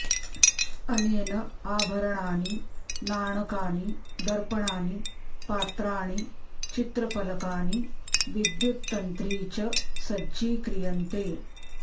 अनेन आभरणानि नाणकानि दर्पणानि पात्राणि चित्रपलकानि विद्युत तंत्री च सज्जीक्रियन्ते